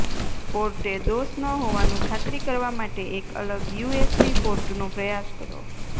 પોર્ટે દોષ ન હોવાનું ખાતરી કરવા માટે એક અલગ યુએસબી પોર્ટનો પ્રયાસ કરો